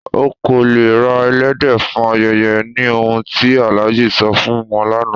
Ọ̀ kò lẹ̀ rà èlẹ́dẹ̀ fún ayẹyẹ, ní ọ̀hun ti Alhaji sọ̀ fún wọn lánà